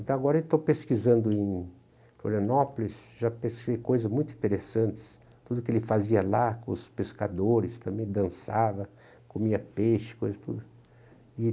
Então agora eu estou pesquisando em Florianópolis, já pesquisei coisas muito interessantes, tudo o que ele fazia lá com os pescadores, também dançava, comia peixe, coisas tudo. E...